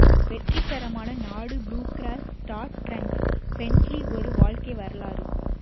வெற்றிகரமான நாடு blue cross star treks Bentley ஒரு வாழ்க்கை வரலாறு